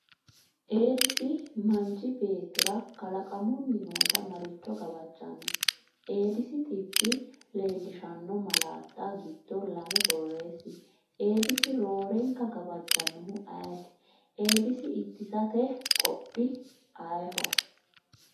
Eedisi manchi beettira kalaqamunni noota maricho gawajjanno? Eedisi dhibbi leellishanno malaatta giddo lame borreessi? Eedisi roorenka gawajjannohu ayeti? Eedisi ittisate qoodi ayeho?